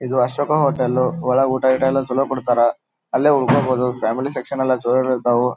ಇದು ಅಶೋಕ ಹೋಟೆಲ್ ಒಳಗೆ ಊಟ ಗೀಟ ಚಲೋ ಕೊಡ್ತಾರಾ ಅಲ್ಲೇ ಉಳ್ಕೊಬೋದು ಫ್ಯಾಮಿಲಿ ಸೆಕ್ಷನ್ ಎಲ್ಲ ಜೋರು ಅದಾವು.